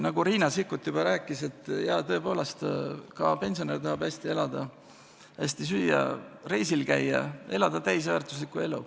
Nagu Riina Sikkut juba rääkis: jaa, tõepoolest, ka pensionär tahab hästi elada, hästi süüa, reisil käia – elada täisväärtuslikku elu.